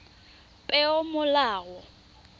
peomolao